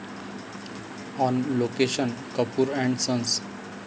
on location 'Kapoor and sons'